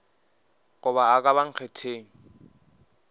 goba a ka ba nkgetheng